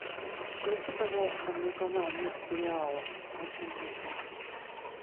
включи пожалуйста мне канал мир сериала очень нужно